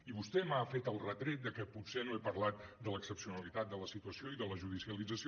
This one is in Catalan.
i vostè m’ha fet el retret de que potser no he parlat de l’excepcionalitat de la situació i de la judicialització